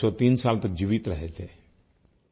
वे 103 साल तक जीवित रहे थे